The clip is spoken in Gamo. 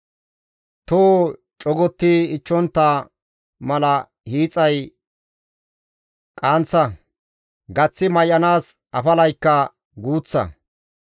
Toho cogotti ichchontta mala hiixay qaanththa; gaththi may7anaas afalaykka guuththa.